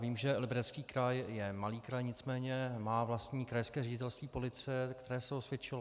Vím, že Liberecký kraj je malý kraj, nicméně má vlastní krajské ředitelství policie, které se osvědčilo.